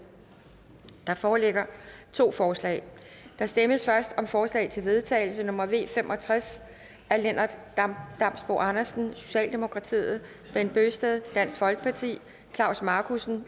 der foreligger to forslag der stemmes først om forslag til vedtagelse nummer v fem og tres af lennart damsbo andersen bent bøgsted klaus markussen